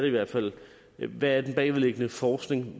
i hvert fald hvad den bagvedliggende forskning